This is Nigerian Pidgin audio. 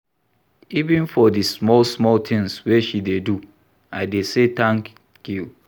Even for di small-small tins wey she dey do, I dey say tank you.